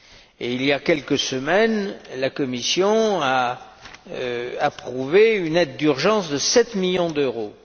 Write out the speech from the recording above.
Et, il y a quelques semaines, la Commission a approuvé une aide d'urgence de 7 millions d'euros.